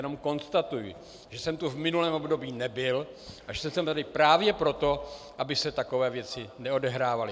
Jenom konstatuji, že jsem tu v minulém období nebyl a že jsem tady právě proto, aby se takové věci neodehrávaly.